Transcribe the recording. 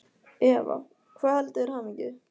Eva: Hvað veldur þér hamingju?